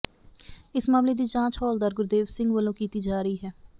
ਇਸ ਮਾਮਲੇ ਦੀ ਜਾਂਚ ਹੌਲਦਾਰ ਗੁਰਦੇਵ ਸਿੰਘ ਵੱਲੋਂ ਕੀਤੀ ਜਾ ਰਹੀ ਹੈ